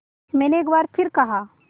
मैंने एक बार फिर कहा